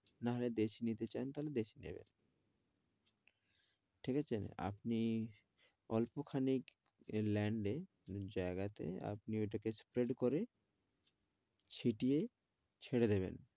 না হলে দেশী নিতে চান তাহলে দেশী নিবেন। ঠিক আছে? আপনি অল্প খানেক land এ জায়গাতে আপনি ঐটাকে spread করে ছিটিয়ে ছেড়ে দেবেন।